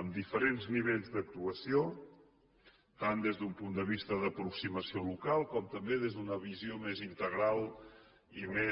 en diferents nivell d’actuació tant des d’un punt de vista d’aproximació local com també des d’una visió més integral i més